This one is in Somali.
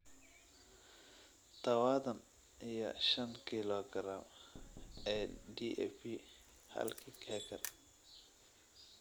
tawadhan iyo shan kilogaram ee DAP halkii acre.